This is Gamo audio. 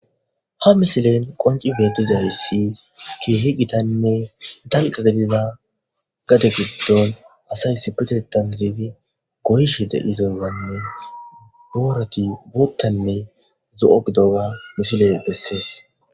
Ha misilen qonci beti zaayifi ki hi gitanne danqa debiza gade giddon asay si pezetan didedi goysh de idozanne boorati buuttanne zo'ogdoga misile bessees.